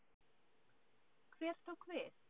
Hver tók við?